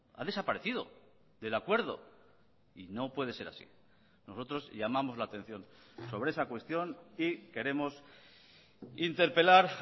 ha desaparecido del acuerdo y no puede ser así nosotros llamamos la atención sobre esa cuestión y queremos interpelar